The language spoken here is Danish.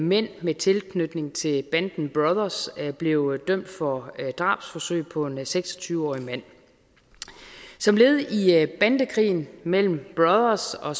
mænd med tilknytning til banden brothers blev dømt for drabsforsøg på en seks og tyve årig mand som led i bandekrigen mellem brothers og